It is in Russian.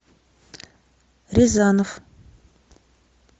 рязанов